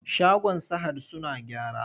Shagon sahad suna gyara.